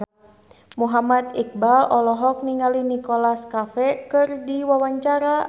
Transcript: Muhammad Iqbal olohok ningali Nicholas Cafe keur diwawancara